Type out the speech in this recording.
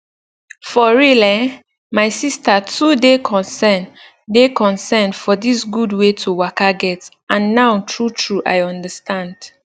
for real eh my sister too dey concern dey concern for dis gud wey to waka get and now true true i understand